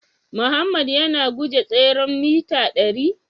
Mohammed yana guje tseren mita dari?